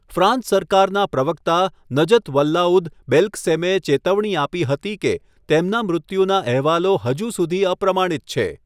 France સરકારના પ્રવક્તા, Najat Vallaud બેલ્કસેમે ચેતવણી આપી હતી કે તેમના મૃત્યુના અહેવાલો હજુ સુધી અપ્રમાણિત છે.